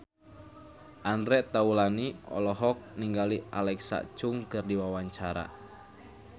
Andre Taulany olohok ningali Alexa Chung keur diwawancara